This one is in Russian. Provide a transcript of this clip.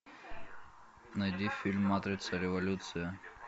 найди фильм матрица революция